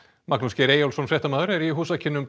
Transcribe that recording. Magnús Geir Eyjólfsson fréttamaður er í húsakynnum